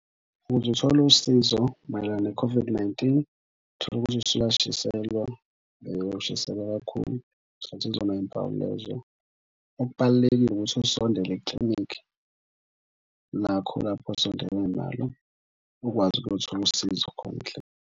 Ukuze uthole usizo mayelana ne-COVID-19 utholukuthi usuyashiselwa ushiselwa kakhulu, ngicathi izona mpawu lezo. Okubalulekile ukuthi usondele eklinikhi lakho lapho osondelene nalo ukwazi ukuyothola usizo khona .